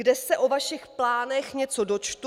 Kde se o vašich plánech něco dočtu?